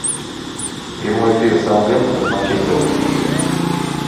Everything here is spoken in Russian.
прямой эфир саутгемптона с манчестером